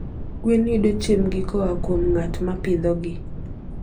Gweno yudo chiembgi koa kuom ng'at ma pidhogi.